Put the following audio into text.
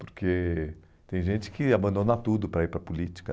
Porque tem gente que abandona tudo para ir para a política.